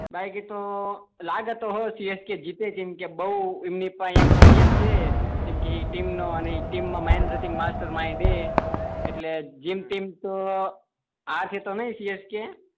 બાકી તો લાગે તો હ સીએસકે જીતે કેમ કે બઉ એમની પાહે એક્સપીરીયન્સ છે કેમ કે ટીમ મા માસ્ટર માઇન્ડ હે એટલે જેમ તેમ તો હરશે તો નઈ સીએસકે